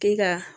K'i ka